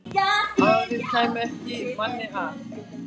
Aðrir kæmu ekki manni að.